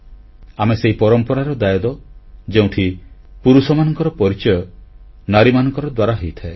ଆମେ ସେହି ପରମ୍ପରାର ଦାୟାଦ ଯେଉଁଠି ପୁରୁଷମାନଙ୍କର ପରିଚୟ ନାରୀମାନଙ୍କର ଦ୍ୱାରା ହୋଇଥାଏ